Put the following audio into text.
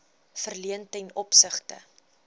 verleen ten opsigte